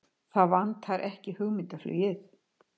Það vantar ekki hugmyndaflugið!